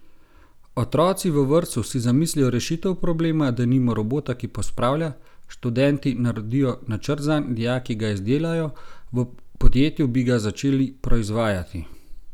Otroci v vrtcu si zamislijo rešitev problema, denimo robota, ki pospravlja, študenti naredijo načrt zanj, dijaki ga izdelajo, v podjetju bi ga začeli proizvajati.